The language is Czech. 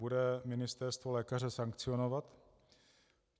Bude ministerstvo lékaře sankcionovat?